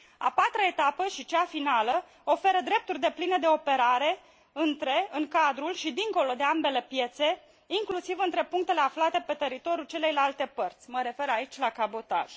A patra etapă și cea finală oferă drepturi depline de operare între, în cadrul și dincolo de ambele piețe, inclusiv între punctele aflate pe teritoriul celeilalte părți mă refer aici la cabotaj.